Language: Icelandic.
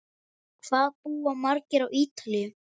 Hvað búa margir á Ítalíu?